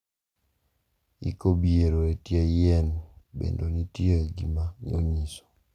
Iko biero e tie yien bende nitie gima onyiso.